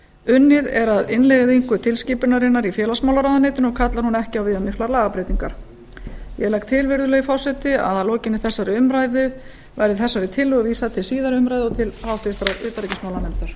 unnið er að innleiðingu tilskipunarinnar í félagsmálaráuenytinu og kallar hún ekki á viðamiklar lagabreytingar ég legg til virðulegi forseti að að lokinni þessari umræðu verði þessari tillögu verða til síðari umræðu og til háttvirtrar utanríkismálanefndar